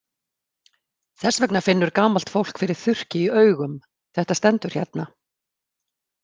Þess vegna finnur gamalt fólk fyrir þurrki í augum, þetta stendur hérna.